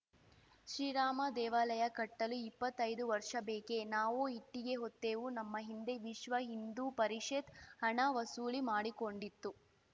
ಶ್ರೀರಾಮದೇವಾಲಯ ಕಟ್ಟಲು ಇಪ್ಪತ್ತೈದು ವರ್ಷ ಬೇಕೆ ನಾವೂ ಇಟ್ಟಿಗೆ ಹೊತ್ತೆವು ನಮ್ಮ ಹಿಂದೆ ವಿಶ್ವ ಹಿಂದೂ ಪರಿಷತ್ ಹಣ ವಸೂಲಿ ಮಾಡಿಕೊಂಡಿತು